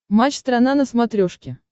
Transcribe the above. матч страна на смотрешке